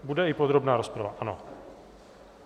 Bude i podrobná rozprava, ano.